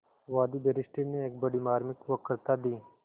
वादी बैरिस्टर ने एक बड़ी मार्मिक वक्तृता दी